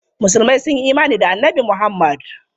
Musulmai sun yi imani da Annabi Muhammad.